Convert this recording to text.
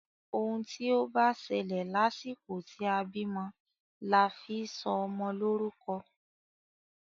Òun tí o bá ṣẹlẹ̀ lásìkò tí a bímọ la fi sọ ọmọ lórúkọ.